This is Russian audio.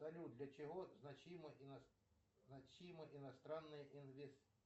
салют для чего значима значима иностранная